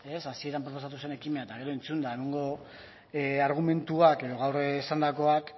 hasieran proposatu zen ekimena eta gero entzunda gaurko argumentuak edo gaur esandakoak